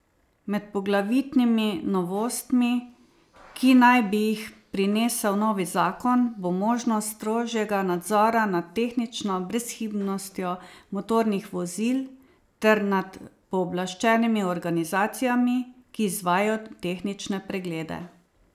Med poglavitnimi novostmi, ki naj bi jih prinesel novi zakon, bo možnost strožjega nadzora nad tehnično brezhibnostjo motornih vozil ter nad pooblaščenimi organizacijami, ki izvajajo tehnične preglede.